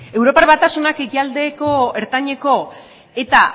europar batasunak ekialdeko ertaineko eta